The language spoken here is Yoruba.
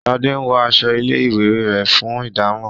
Shade wón aṣọ ilé ìwé rẹ, fún ìdámò.